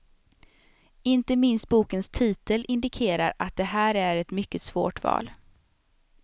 Inte minst bokens titel indikerar att det här är ett mycket svårt val.